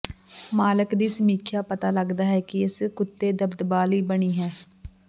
ਮਾਲਕ ਦੀ ਸਮੀਖਿਆ ਪਤਾ ਲੱਗਦਾ ਹੈ ਕਿ ਇਸ ਕੁੱਤੇ ਦਬਦਬਾ ਲਈ ਬਣੀ ਹੈ